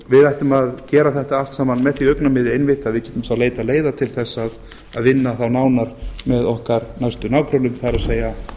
við ættum að gera þetta allt saman með því augnamiði einmitt að við getum þá leitað leiða til þess að vinna þá nánar með okkar næstu nágrönnum það er